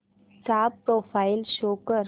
चा profile show कर